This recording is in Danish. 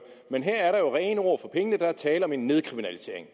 men her var der rene ord for pengene der er tale om en nedkriminalisering